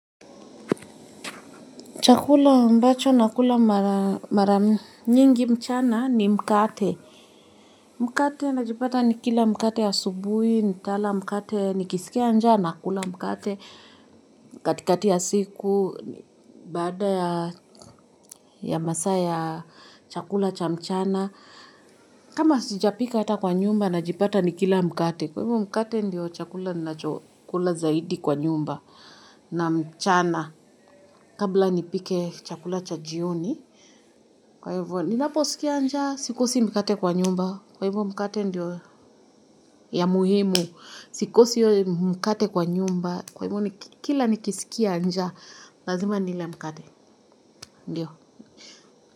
Chakula ambacho nakula mara nyingi mchana ni mkate. Mkate najipata nikila mkate yasubuhi, nitala mkate, nikisikia njana nakula mkate. Katikati ya siku, bada ya masa ya chakula cha mchana. Kama sijapika ata kwa nyumba najipata nikila mkate. Kwa hivyo mkate ndio chakula nacho kula zaidi kwa nyumba na mchana. Kabla nipike chakula cha jioni. Kwa hivyo ninaposikia nja sikosi mkate kwa nyumba. Kwa hivyo mkate ndio ya muhimu. Sikosi mkate kwa nyumba. Kwa hivyo kila nikisikia nja. Lazima nile mkate ndio.